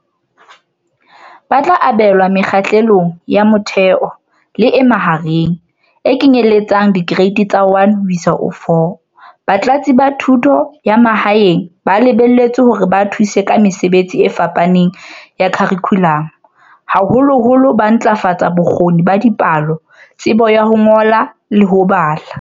"Ba tla abelwa Mekgahlelong ya Motheo le ya Mahareng, e kenyelletsang Dikereiti tsa 1 ho isa 4."Batlatsi ba Thuto ya Ma haeng ba lebelletswe hore ba thuse ka mesebetsi e fapaneng ya kharikhulamo, haholoholo ho ntlafatsa bo kgoni ba dipalo, tsebo ya ho ngola le ya ho bala.